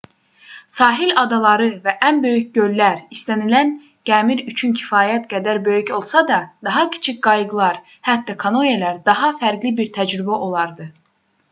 sahil adaları və ən böyük göllər istənilən gəmir üçün kifayət qədər böyük olsa da daha kiçik qayıqlar hətta kanoelər daha fərqli bir təcrübə olardı